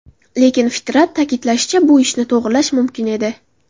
Lekin Fitrat ta’kidlashicha, bu ishni to‘g‘irlash mumkin edi.